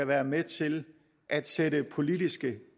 være med til at sætte politiske